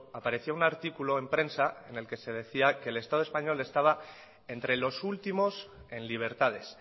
apareció un artículo en prensa en el que se decía que el estado español estaba entre los últimos en libertades